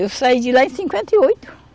Eu saí de lá em cinquenta e oito.